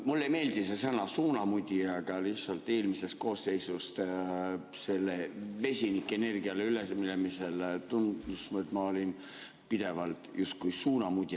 Mulle ei meeldi see sõna "suunamudija", aga lihtsalt eelmises koosseisus sellele vesinikuenergiale üleminemise puhul tundus, et ma olin pidevalt justkui suunamudija.